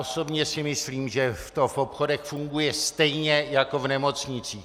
Osobně si myslím, že to v obchodech funguje stejně jako v nemocnicích.